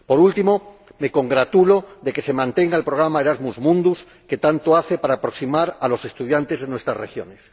Por último, me congratulo de que se mantenga el programa Erasmus Mundus, que tanto hace para aproximar a los estudiantes de nuestras regiones.